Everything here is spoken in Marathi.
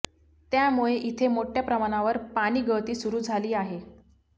त्यामुळे इथे मोठ्या प्रमाणावर पाणीगळती सुरु झाली आहे